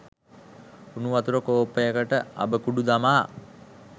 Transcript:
උණු වතුර කෝප්පයකට අබ කුඩු දමා